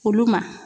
Olu ma